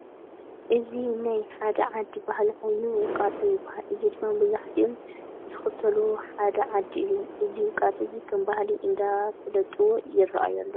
እዚ ናይ ሓደ ዓዲ ባህሊ ኮይኑ ውቃጦ ይበሃል። እዚ ድማ መብዛሕትኦም ዝክተልዎ ሓደ ዓዲ እዮም። እዚ ውቃጦ እዚ ከም ባህሊ እንዳፋለጥዎ ይረአዩ ኣለዉ።